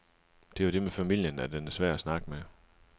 Det er jo det med familien, at den er svær at snakke med.